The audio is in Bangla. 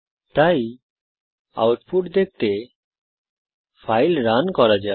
তাই আউটপুট দেখতে ফাইল রান করা যাক